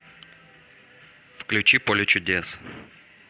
включи поле чудес